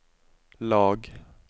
lag